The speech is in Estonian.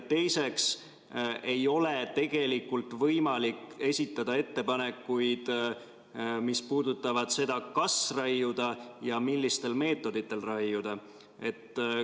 Teiseks ei ole tegelikult võimalik esitada ettepanekuid, mis puudutavad seda, kas raiuda ja millistel meetoditel raiuda.